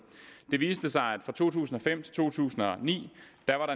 det viste sig at der fra to tusind og fem til to tusind og ni